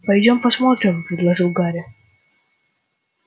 пойдём посмотрим предложил гарри